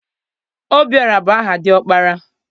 Obiọra bụ aha dị ọkpara.